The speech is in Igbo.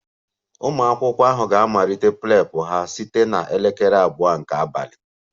Ụmụ akwụkwọ ahụ ga-amalite Prep ha site na elekere abụọ nke abalị